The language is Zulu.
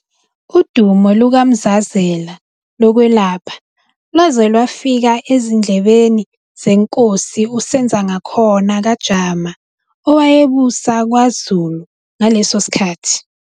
Udumo lukaMzazela lokwelapha lwaze lwafika ezindlebeni zenkosi uSenzangakhona kaJama owayebusa kwaZulu ngaleso sikhathi.